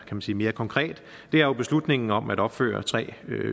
man sige mere konkret er jo beslutningen om at opføre tre